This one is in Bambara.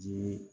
Jiri